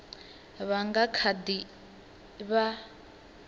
vha nga kha ḓi vha